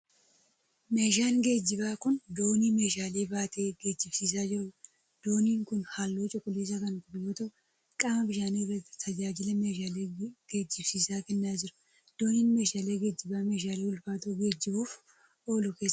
Meeshaan geejibaa kun, doonii meeshaalee baatee geejibsiisaa jiruu dha. Dooniinn kun haalluu cuquliisa kan qabu yoo ta'u, qaama bishaanii irratti tajaajila meeshaalee geejibsiisuu kennaa jira. Dooniin, meeshaalee geejibaa meeshaalee ulfaatoo geejibuuf oolu keessaa isa tokko.